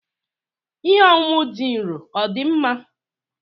Ihe ọṅụṅụ dị nro dị mma?